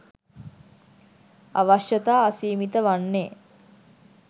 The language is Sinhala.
අවශ්‍යතා අසීමිත වන්නේ